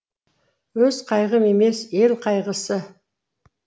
өз қайғым емес ел қайғысы